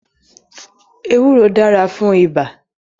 Ewúro dára fún ibà